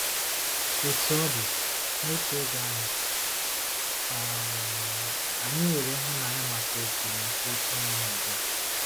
Otú ọ dị, n'otu oge ahụ, um anyị 'nwere ịhụnanya maka òtù maka òtù ụmụnna dum.